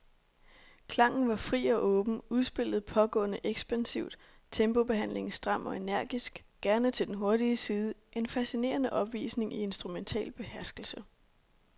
Klangen var fri og åben, udspillet pågående ekspansivt, tempobehandlingen stram og energisk, gerne til den hurtige side, en fascinerende opvisning i instrumental beherskelse.